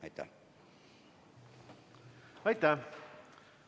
Aitäh!